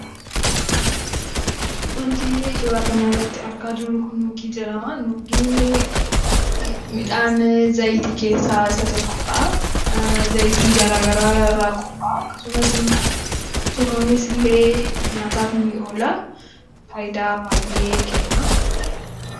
Wanti suuraa kanarratti argaa jirru kun nuugii jedhama. Nuugiin midhaan zayitii keessaa isa tokko dha. Zayitii garaagaraa irraa qophaa'aa. Akkasumas immoo, tumamees illee nyaataaf ni oola. Faayidaa baay'ee kenna.